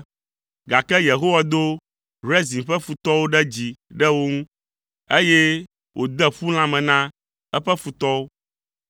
gake Yehowa do Rezin ƒe futɔwo ɖe dzi ɖe wo ŋu, eye wòde ƒu lãme na eƒe futɔwo.